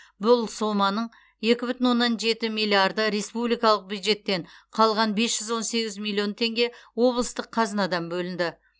бұл соманың екі бүтін оннан жеті миллиарды республикалық бюджеттен қалған бес жүз он сегіз миллион теңге облыстық қазынадан бөлінді